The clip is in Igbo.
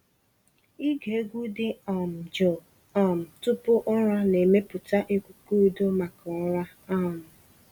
Ịge egwu dị um jụụ um tupu ụra na-emepụta ikuku udo maka ụra. um